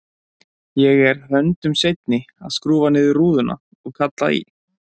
Ég er höndum seinni að skrúfa niður rúðuna og kalla í